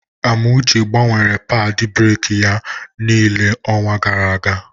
Amuche gbanwere padị breki ya niile n'onwa gara aga.